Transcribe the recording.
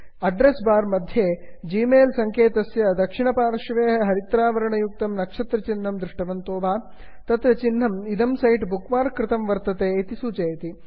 address bar इत्यत्र Gmail सङ्केतस्य दक्षिणपार्श्वे हरिद्रवर्णयुक्तं नक्षत्रहिन्हं दृष्टवन्तो वा160 तत् चिन्हम् इदं जालपुटं बुक् मार्क् कृतं वर्तते इति सूचयति